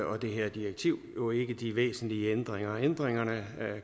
og det her direktiv jo ikke de væsentlige ændringer ændringerne